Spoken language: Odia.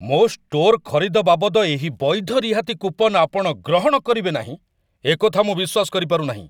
ମୋ' ଷ୍ଟୋର୍‌ ଖରିଦ ବାବଦ ଏହି ବୈଧ ରିହାତି କୁପନ୍ ଆପଣ ଗ୍ରହଣ କରିବେ ନାହିଁ, ଏକଥା ମୁଁ ବିଶ୍ୱାସ କରିପାରୁନାହିଁ।